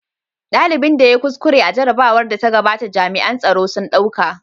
Dalibin da ya yi kuskure a jarrabawar da ta gabata jami'an tsaro sun ɗauka.